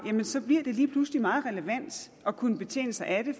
jamen så bliver det lige pludselig meget relevant at kunne betjene sig af det